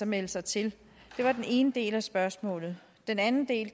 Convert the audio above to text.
melde sig til det var den ene del af spørgsmålet den anden del